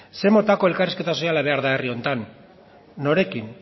zer motako elkarrizketa soziala behar da herri honetan norekin